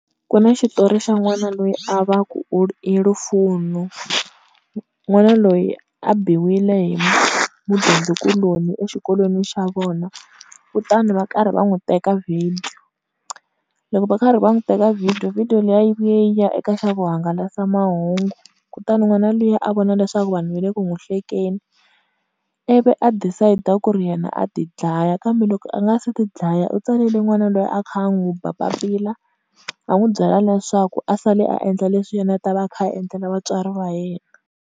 Ku na xitori xa n'wana loyi a va ku i Lufuno, n'wana loyi a biwile hi mudyondzi kuloni exikolweni xa vona kutani va karhi va n'wi teka video, loko va karhi va n'wi teka video, video liya yi ye yi ya eka xa vuhangalasamahungu, kutani n'wana lwiya a vona leswaku vanhu va le ku n'wi hlekeni, ivi a decide-a ku ri yena a ti dlaya kambe loko a nga se ti dlaya u tsalele n'wana loyi a kha a n'wu ba papila, a n'wi byela leswaku a sali a endla leswi yena a ta va a kha a endlela vatswari va yena.